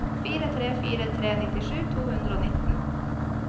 fire tre fire tre nittisju to hundre og nitten